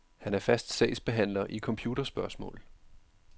Han er fast sagsbehandler i computerspørgsmål.